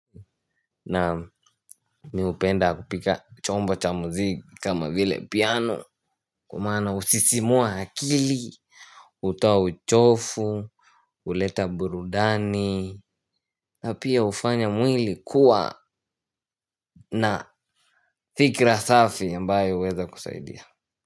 Naam mi upenda kupiga chombo cha muziki kama vile piano kwa maana husisimua hakili utoa uchofu uleta burudani na pia ufanya mwili kuwa na fikra safi ambaye uweza kusaidia.